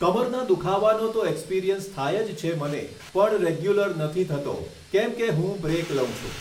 કમરના દુઃખાવાનું તો એક્સપિરિયન્સ થાય જ છે પણ રેગ્યુલર નથી થતો મને કે કેમકે હું બ્રેક લઉં છું